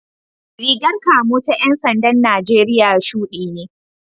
Rigar kamo ta ‘yan sandan Najeriya shudi ne